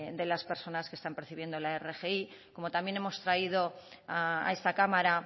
de las personas que están percibiendo la rgi como también hemos traído a esta cámara